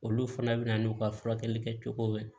Olu fana bɛ na n'u ka furakɛli kɛ cogo min